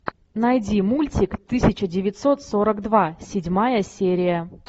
найди мультик тысяча девятьсот сорок два седьмая серия